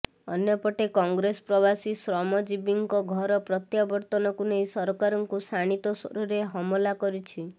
ଅନ୍ୟପଟେ କଂଗ୍ରେସ ପ୍ରବାସୀ ଶ୍ରମ ଜୀବୀଙ୍କ ଘର ପ୍ରତ୍ୟାବର୍ତ୍ତନକୁ ନେଇ ସରକାରଙ୍କୁ ଶାଣିତ ସ୍ବରରେ ହମଲା କରିଛି